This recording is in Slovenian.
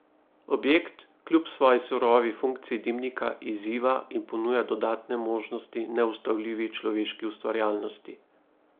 Objekt kljub svoji surovi funkciji dimnika izziva in ponuja dodatne možnosti neustavljivi človeški ustvarjalnosti.